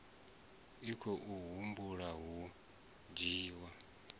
a khou humbela u dzhiwa